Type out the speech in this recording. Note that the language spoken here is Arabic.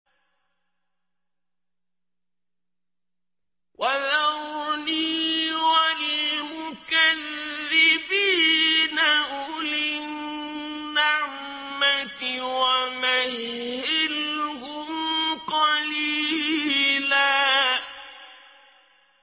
وَذَرْنِي وَالْمُكَذِّبِينَ أُولِي النَّعْمَةِ وَمَهِّلْهُمْ قَلِيلًا